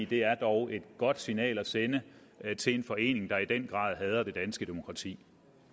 det er dog et godt signal at sende til en forening der i den grad hader det danske demokrati